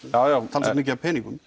talsvert mikið af peningum